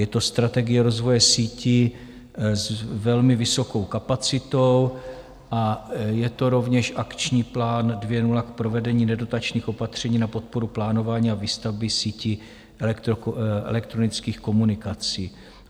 Je to strategie rozvoje sítí s velmi vysokou kapacitou a je to rovněž akční plán 2.0 k provedení nedotačních opatření na podporu plánování a výstavby síti elektronických komunikací.